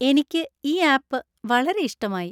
എനിക്ക് ഈ ആപ്പ് വളരെ ഇഷ്ടമായി.